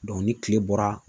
ni tile bɔra